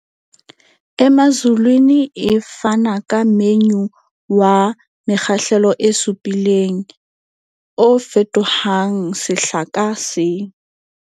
Emazulwini e fana ka menyu wa mekgahlelo e supileng, o fetohang sehla ka seng.